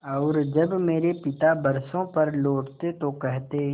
और जब मेरे पिता बरसों पर लौटते तो कहते